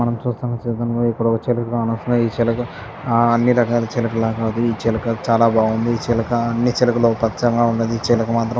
మనం చూస్తున్న చిలకలలో ఇక్కడ ఒక చిలుక. అసలే ఈ చిలక అన్ని రకాల చిలుకలాగా కాదు.ఈ చిలక చాలా బాగుంది. ఈ చిలక అన్ని చిలకలు పచ్చగా ఉన్నది. కానీ ఈ చిలక మాత్రం --